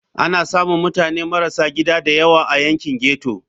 Ana samun mutane marasa gida da yawa a yankin ghetto.